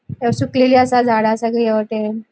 अ सुकलेली असा. झाडा सगळी ह्या वाटेन.